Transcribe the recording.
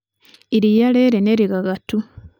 iria rĩrĩ nĩ rĩgagatu.